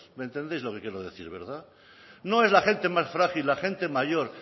me entendéis lo que quiero decir verdad no es la gente más frágil la gente mayor